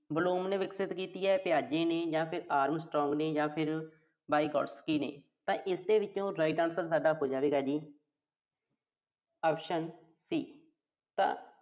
Bloom ਨੇ ਵਿਕਸਿਤ ਕੀਤੀ ਆ, Tyge ਜਾਂ ਫਿਰ Armstrong ਜਾਂ ਫਿਰ Vygotsky ਨੇ ਤਾਂ ਇਹਦੇ ਚੋਂ ਸਾਡਾ right answer ਹੋ ਜਾਵੇਗਾ ਜੀ optionC ਤਾਂ